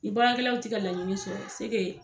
Ni baarakɛlaw te ka laɲini sɔrɔ se ke